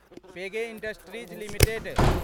पगे Industries limited